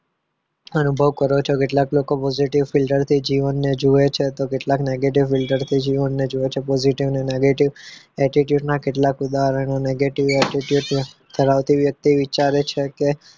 અનુભવ કરો છો કેટલાક લોકો positive filter થી જીવનને જુએ છે તો કેટલાક negative filter થી જીવનને જોવે છે positive અને negative filter ના કેટલા ઉદાહરણ negative attitude ધરાવતી વ્યક્તિ વિચારે છે કે